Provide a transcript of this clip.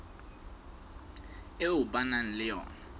eo ba nang le yona